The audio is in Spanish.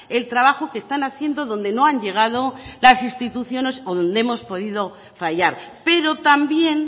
el trabajo que están haciendo donde no han llegado las instituciones o donde hemos podido fallar pero también